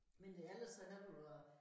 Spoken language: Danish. Men det ellers så har du jo